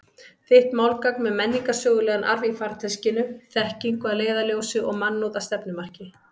Þitt málgagn með menningarsögulegan arf í farteskinu, þekkingu að leiðarljósi og mannúð að stefnumarki.